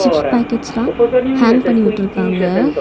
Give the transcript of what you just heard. Chips பேக்கெட்ஸ்லா hang பண்ணி விட்ருக்காங்க.